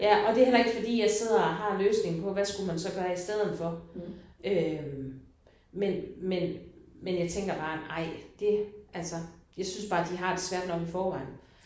Ja og det heller ikke fordi jeg sidder og har løsningen på hvad skulle man så gøre i stedet for øh men men men jeg tænker bare nej det altså jeg synes bare de har det svært nok i forvejen